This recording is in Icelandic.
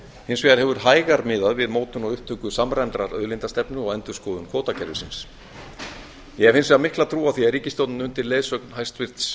hins vegar hefur hægar miðað við mótun á upptöku samræmdrar auðlindastefnu og endurskoðun kvótakerfisins ég hef hins vegar mikla trú á því að ríkisstjórnin undir leiðsögn hæstvirtur